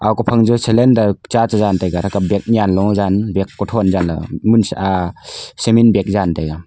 ophang jo cylinder cha chejan taiga atthra kapley yanlo jan kuthon jan munsha cement bag jan taiga.